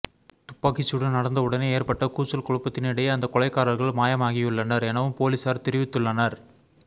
துப்பாக்கிச்ச்டு நடந்த உடனே ஏற்பட்ட கூச்சல் குழப்பத்தினிடையே அந்த கொலைகாரர்கள் மாயமாகியுள்ளனர் எனவும் பொலிசார் தெரிவித்துள்ளனர்